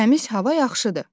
Təmiz hava yaxşıdır.